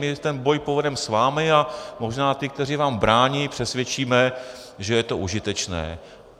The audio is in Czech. My ten boj povedeme s vámi a možná ty, kteří vám brání, přesvědčíme, že je to užitečné.